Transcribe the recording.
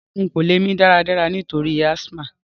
Rárá, n ko lẹ́ mí dáradára nítorí asthma